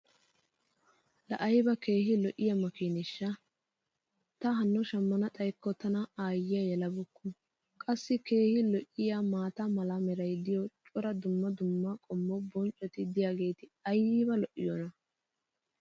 laa aybba keehi lo'iyaa makiineeshsha! ta hano shammana xayikko tana aayiyaa yelabeykku qassi keehi lo'iyaa maata mala meray diyo cora dumma dumma qommo bonccoti diyaageti ayba lo'iyoonaa?